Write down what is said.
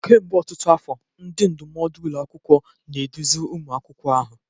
Kemgbe ọtụtụ afọ, ndị ndụmọdụ ụlọ akwụkwọ na-eduzi ụmụ akwụkwọ ahụ.